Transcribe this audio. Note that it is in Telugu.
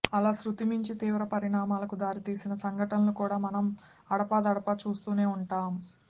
అలా శృతిమించి తీవ్ర పరిణామాలకు దారి తీసిన సంఘటనలు కూడా మనం అడపాదడపా చూస్తూనే ఉంటాం